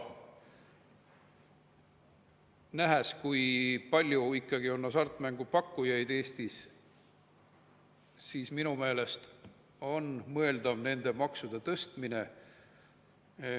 Nähes, kui palju ikkagi on hasartmängupakkujaid Eestis, on minu meelest mõeldav nende maksude tõstmine.